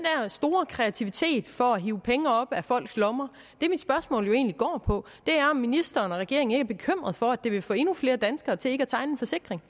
der store kreativitet for at hive penge op af folks lommer det mit spørgsmål jo egentlig går på er om ministeren og regeringen ikke er bekymret for at det vil få endnu flere danskere til ikke at tegne en forsikring